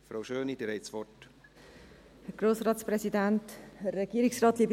Frau Schöni, Sie haben das Wort.